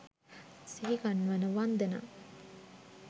සිහිගන්වන වන්දනා